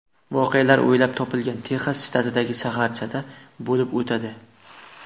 Voqealar o‘ylab topilgan Texas shtatidagi shaharchada bo‘lib o‘tadi.